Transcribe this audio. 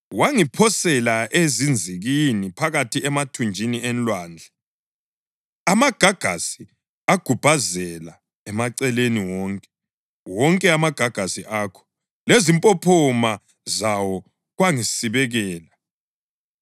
Wangiphosela ezinzikini, phakathi emathunjini enlwandle, amagagasi agubhazela emaceleni wonke; wonke amagagasi akho lezimpophoma zawo kwangisibekela.